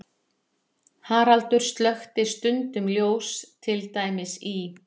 Haraldur slökkti stundum ljós, til dæmis í